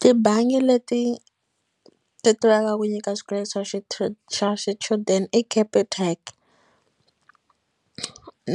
Tibangi leti ti tivekaka ku nyika xikweleti xa xa xichudeni i capitec